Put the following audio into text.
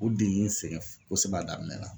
O de y'u sɛgɛn kosɛbɛ a daminɛ la.